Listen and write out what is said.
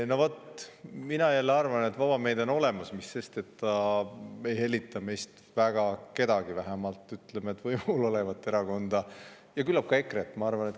No vaat, mina jälle arvan, et vaba meedia on olemas, mis sest et ta ei hellita meist väga kedagi, vähemalt võimul olevat erakonda ja küllap ka EKRE-t.